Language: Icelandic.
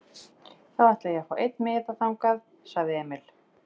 Þá ætla ég að fá einn miða þangað, sagði Emil.